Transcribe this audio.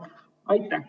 Aitäh!